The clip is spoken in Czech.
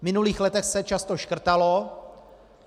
V minulých letech se často škrtalo.